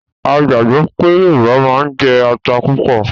A gbàgbọ́ pé Yorùbá máa ń jẹ ata púpọ̀